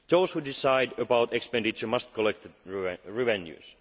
in order. Those who decide about expenditure must collect the